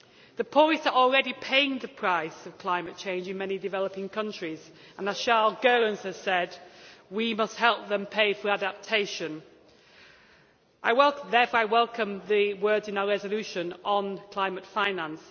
The poorest are already paying the price of climate change in many developing countries and, as Charles Goerens has said, we must help them pay for adaptation. Therefore, I welcome the words in our resolution on climate finance.